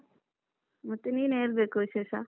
ಮತ್ತೆ ನೀನೆ ಹೇಳ್ಬೇಕು ವಿಶೇಷ.